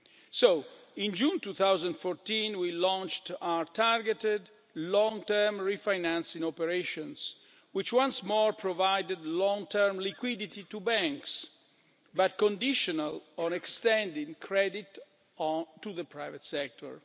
So, in June 2014, we launched our targeted long-term refinancing operations, which once more provided long-term liquidity to banks but conditional on extending credit to the private sector.